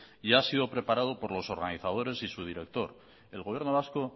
y ha sido preparado por los organizadores y su director el gobierno vasco